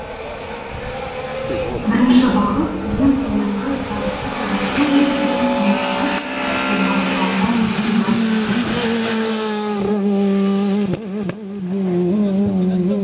бірінші бағыт ең төменгі табысты көбейту мен ең мұқтаж отбасыларына қолдау көрсету